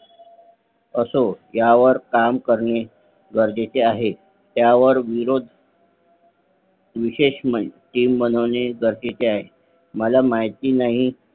असो ह्या वर काम करणे गरजेचे आहे त्या वर विरोध विशेष Team बनवणे गरजेचे आहे मला माहिती नाही